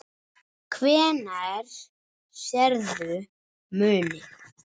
Hvenær sérðu muninn?